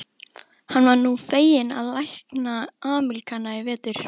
Hann var nú fenginn til að lækna Ameríkana í vetur.